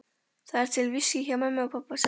Það er til viskí hjá pabba og mömmu, sagði Margrét.